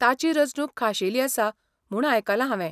ताची रचणूक खाशेली आसा म्हूण आयकलां हावें.